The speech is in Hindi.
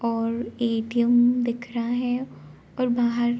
और एटीएम दिख रहा है और बाहर --